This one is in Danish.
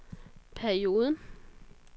perioden